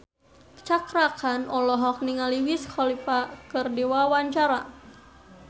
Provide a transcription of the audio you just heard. Cakra Khan olohok ningali Wiz Khalifa keur diwawancara